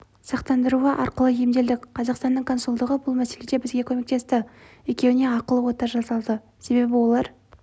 сақтандыруы арқылы емделдік қазақстанның консулдығы бұл мәселеде бізге көмектесті екеуіне ақылы ота жасалды себебі олар